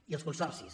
i els consorcis